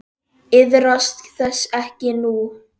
Iðrast þess ekki nú.